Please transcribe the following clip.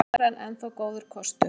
Evran enn þá góður kostur